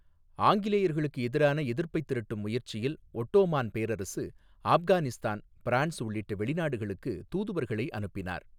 ஆங்கிலேயர்களுக்கு எதிரான எதிர்ப்பைத் திரட்டும் முயற்சியில் ஒட்டோமான் பேரரசு, ஆப்கானிஸ்தான், பிரான்ஸ் உள்ளிட்ட வெளிநாடுகளுக்கு தூதுவர்களை அனுப்பினார்.